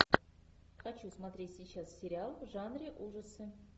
хочу смотреть сейчас сериал в жанре ужасы